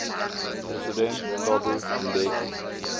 president thabo mbeki